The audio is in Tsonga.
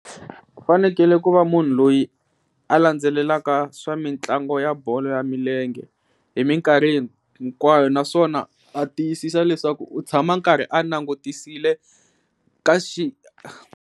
U fanekele ku va munhu loyi a landzelelaka swa mitlangu ya bolo ya milenge hi minkarhi hinkwayo naswona a tiyisisa leswaku u tshama a karhi a langutisile ka .